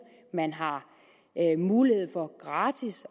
man har mulighed for gratis